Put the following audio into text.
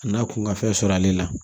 A n'a kun ka fɛn sɔrɔ ale la